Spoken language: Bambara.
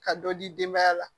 Ka dɔ di denbaya la